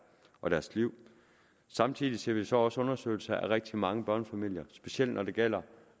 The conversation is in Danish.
og deres liv samtidig ser vi så også undersøgelser af rigtig mange børnefamilier specielt når det gælder